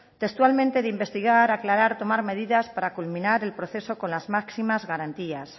textualmente de investigar aclarar tomar medidas para culminar el proceso con las máximas garantías